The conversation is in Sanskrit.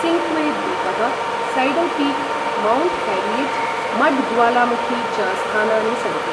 सिन्क्वेद्वीपः, सैडल्पीक्, मौण्ट् हैरियट्, मड् ज्वालामुखी च स्थानानि सन्ति।